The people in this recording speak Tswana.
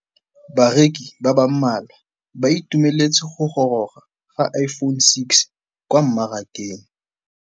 Bareki ba ba malwa ba ituemeletse go gôrôga ga Iphone6 kwa mmarakeng.